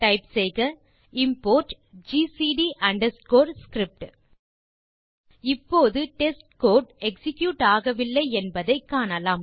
type செய்க import GCD underscore script இப்போது test code execute ஆகவில்லை என்பதை காணலாம்